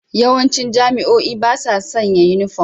Yawancin jami'o'i ba sa sanya yunifom.